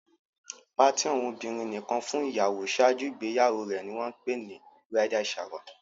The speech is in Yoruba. Party àwọn obìrin nìkan fún ìyàwó ṣáájú ìgbéyàwó rè ní wón pè ni "bridal shower"